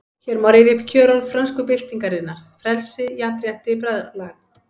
Hér má rifja upp kjörorð frönsku byltingarinnar: Frelsi, jafnrétti, bræðralag